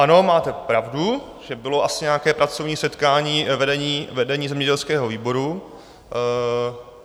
Ano, máte pravdu, že bylo asi nějaké pracovní setkání vedení zemědělského výboru.